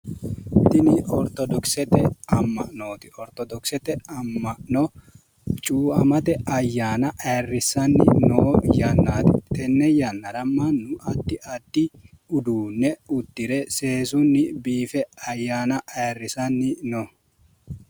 Tini ortodoksete amma'nooti. Ortodoksete amma'no cuuamate ayyaana ayirrisanni noo yannati. Tenne yannara mannu addi addi uddire seesunni biife ayyaana ayirrisanni no.